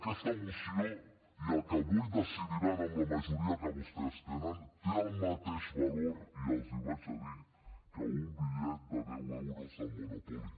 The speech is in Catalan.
aquesta moció i el que avui decidiran amb la majoria que vostès tenen té el mateix valor i els ho diré que un bitllet de deu euros del monopoly